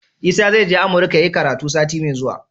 Isa zai je amurka yayi karatu sati me zuwa